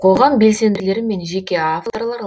қоғам белсенділері мен жеке авторлар